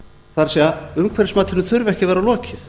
það er umhverfismatinu þurfi ekki að vera lokið